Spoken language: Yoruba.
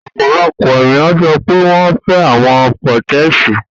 Ọpọlọpọ eniyan sọ pe wọn fẹ awọn pẹtẹẹsì